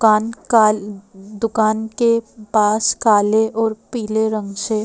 कान काल दुकान के पास काले और पीले रंग से--